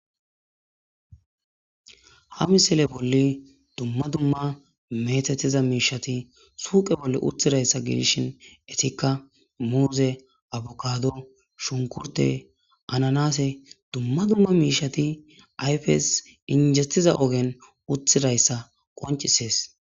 Ha misile bolli dumma dumma methetiza miishati suuqe bolle uthidayssa gidishin etikka muuze abukado shunkurte ananase dumma dumma miishati ayfes injettiza ogen uthidayssa qoncisees.